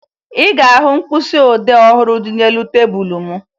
Ị ga-ahụ mkpịsịodee ọhụrụ dị n'elu tebulu m